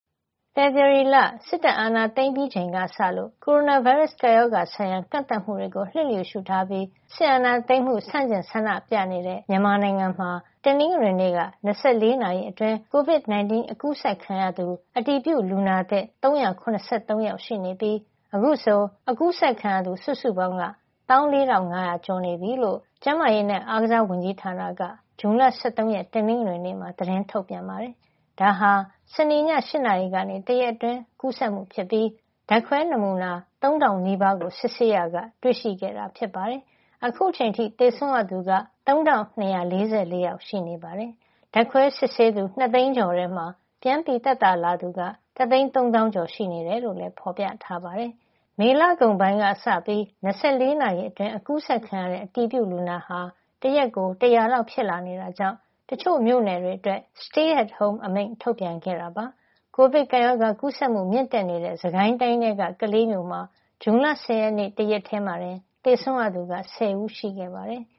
ဖေဖော်ဝါရီလ စစ်တပ်အာဏာသိမ်းပြီးချိန်ကစလို့ နိုင်ငံတဝန်း ကိုရိုနာဗိုင်းရပ်စ် ကပ်ရောဂါဆိုင်ရာ ကန့်သတ်မှုတွေကို လျစ်လျူရှုပြီး စစ်အာဏာသိမ်းမှု ဆန့်ကျင်ဆန္ဒပြနေတဲ့ မြန်မာနိုင်ငံမှာ တနင်္ဂနွန့က ၂၄ နာရီအတွင်း COVID-19 ကူးစက်ခံရသူ အတည်ပြုလူနာသစ် ၃၇၃ ယောက်ရှိနေပြီး အခုဆို ကူးစက်ခံရသူ ၁၄၅,၀၀၀ ကျော်နေပြီလို့ ကျန်းမာရေးနဲ့ အားကစားဝန်ကြီးဌာနက ဇွန်လ ၁၃ ရက် တနင်္ဂနွေနေ့မှာ သတင်းထုတ်ပြန်ပါတယ်။ ဒါဟာ စနေည ၈ နာရီကနေ တရက်အတွင်း ကူးစက်မှုဖြစ်ပြီး ဓာတ်ခွဲနမူနာ ၃,၀၀၀ နီးပါးကို စစ်ဆေးရာက တွေ့ရှိခဲ့တာ ဖြစ်ပါတယ်။ အခုချိန်အထိ သေဆုံးရသူက ၃,၂၄၄ ယောက် ရှိနေတာပါ။ ဓာတ်ခွဲစစ်ဆေးသူ ၂ သိန်းခွဲကျော်ထဲမှာ ပြန်သက်သာလာသူက ၁၃၀,၀၀၀ ကျော် ရှိနေတယ်လို့ ဖော်ပြထားပါတယ်။ မေလကုန်ပိုင်းကစပြီး ၂၄ နာရီအတွင်း ကူးစက်ခံရတဲ့ အတည်ပြုလူနာဟာ တရက်ကို ၁၀၀ လောက် ဖြစ်လာနေတာကြောင့် တချို့မြို့နယ်တွေအတွက် နေအိမ်မှာပဲနေဖို့ Stay at Home အမိန့် ထုတ်ပြန်ခဲ့တာပါ။ ကိုဗစ်ကပ်ရောဂါ ကူးစက်မှု မြင့်တက်နေတဲ့ စစ်ကိုင်းတိုင်းထဲက ကလေးမြို့မှာ ဇွန်လ ၁၀ ရက်နေ့က တရက်တည်းမှာ သေဆုံးရသူက ၁၀ ဦး ရှိခဲ့ပါတယ်။